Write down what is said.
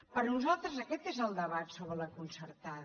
per nosaltres aquest és el debat sobre la concertada